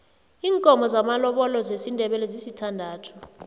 iinkomo zamalobolo zesindebele zisithandathu